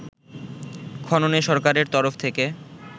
খননে সরকারের তরফ থেকে